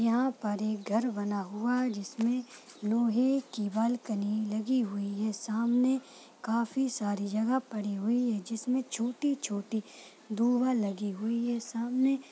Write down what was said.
यहाँ पर एक घर बना हुआ जिसमे लोहे की बाल्कनी लगी हुई है सामने काफी सारी जगह पड़ी हुई है जिसमे छोटी-छोटी दुह लगी हुई है सामने--